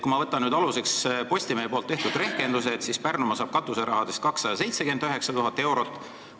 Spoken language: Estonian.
Kui ma võtan aluseks Postimehe tehtud rehkenduse, siis Pärnumaa saab katuserahadest 279 000 eurot.